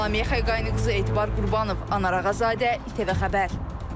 Lalə Mehqayı qızı Etibar Qurbanov, Anar Ağazadə, İTV Xəbər.